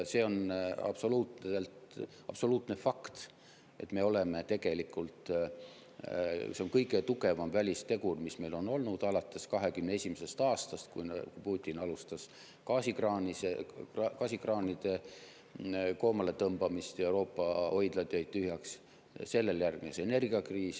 See on absoluutne fakt, see on kõige tugevam välistegur, mis meil on olnud alates 2021. aastast, et kui Putin alustas gaasikraanide koomaletõmbamist, siis Euroopa hoidlad jäid tühjaks, sellele järgnes energiakriis.